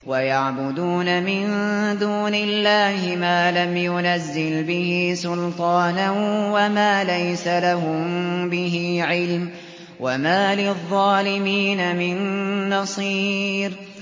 وَيَعْبُدُونَ مِن دُونِ اللَّهِ مَا لَمْ يُنَزِّلْ بِهِ سُلْطَانًا وَمَا لَيْسَ لَهُم بِهِ عِلْمٌ ۗ وَمَا لِلظَّالِمِينَ مِن نَّصِيرٍ